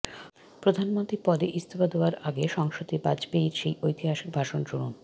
প্রধানমন্ত্রী পদে ইস্তফা দেওয়ার আগে সংসদে বাজপেয়ীর সেই ঐতিহাসিক ভাষণ শুনুন